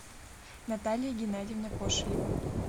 наталья геннадьевна кошелева